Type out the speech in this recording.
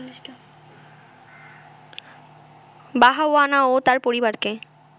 বাহাওয়ানা ও তার পরিবারকে